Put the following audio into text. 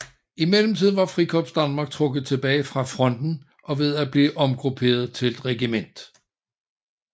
I mellemtiden var Frikorps Danmark trukket tilbage fra fronten og ved at blive omgrupperet til et regiment